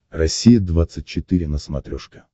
россия двадцать четыре на смотрешке